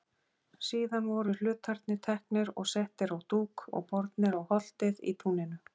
Síðan voru hlutarnir teknir og settir á dúk og bornir á holtið í túninu.